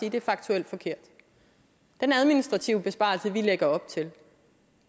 at det er faktuelt forkert den administrative besparelse vi lægger op til